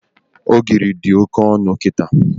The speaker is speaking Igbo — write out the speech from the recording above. Ogiri dị Oke ọnụ kịta